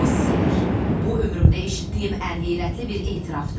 Tomas Sör, bu ömrümdə eşitdiyim ən heyrətli bir etirafdır.